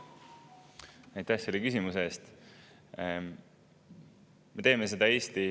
Aitäh selle küsimuse eest!